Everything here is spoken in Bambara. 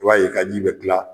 I b'a ye ka ji be kila